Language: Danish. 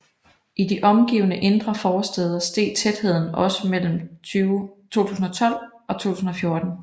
I de omgivende indre forstæder steg tætheden også mellem 2012 og 2014